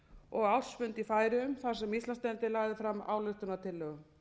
og ársfund í færeyjum þar sem íslandsdeildin lagði fram ályktunartillögu